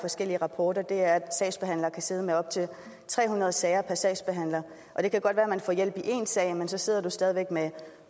forskellige rapporter er at sagsbehandlere kan sidde med op til tre hundrede sager per sagsbehandler og det kan godt være at man får hjælp i én sag men så sidder man stadig væk med